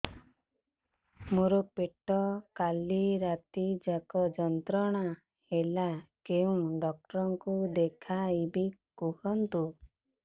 ମୋର ପେଟ କାଲି ରାତି ଯାକ ଯନ୍ତ୍ରଣା ଦେଲା କେଉଁ ଡକ୍ଟର ଙ୍କୁ ଦେଖାଇବି କୁହନ୍ତ